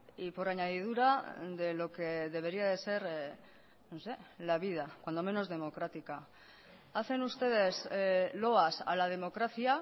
y por añadidura de lo que debería de ser la vida cuando menos democrática hacen ustedes loas a la democracia